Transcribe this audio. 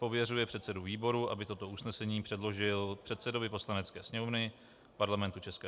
Pověřuje předsedu výboru, aby toto usnesení předložil předsedovi Poslanecké sněmovny Parlamentu ČR